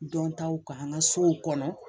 Dɔntaw k'an ka sow kɔnɔ